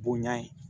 Bonya ye